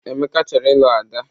Emeka chọrọ ilu Ada.